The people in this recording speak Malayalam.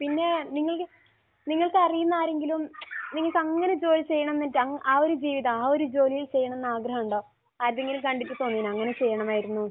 പിന്നെ നിങ്ങൾ നിങ്ങൾക്ക് അറിയുന്ന ആരെങ്കിലും നിങ്ങൾക്കങ്ങനെ ജോലി ചെയ്യണം എന്ന് വെച്ച് ആ ഒരു ജീവിതം, ആ ഒരു ജോലി ചെയ്യണമെന്ന് ആഗ്രഹമുണ്ടോ? ആരുടെയെങ്കിലും കണ്ടിട്ട് തോന്നിയോ അങ്ങനെ ചെയ്യണമായിരുന്നു എന്ന്?